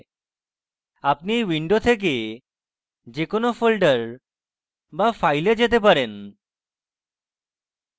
আপনি you window থেকে যে কোনো folder বা file যেতে পারেন